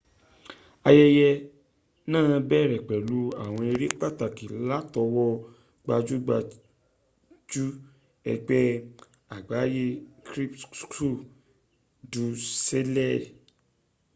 ayẹyẹ náà bẹ̀rẹ̀ pẹ̀lú àwọn eré pàtàkì látọwọ́ gbajúgbajù ẹgbẹ́ àgbáyé cirque du soleil